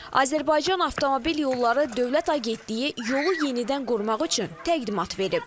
Azərbaycan Avtomobil Yolları Dövlət Agentliyi yolu yenidən qurmaq üçün təqdimat verib.